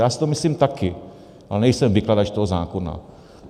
Já si to myslím taky, ale nejsem vykladač toho zákona.